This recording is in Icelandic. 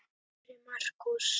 Kæri Markús.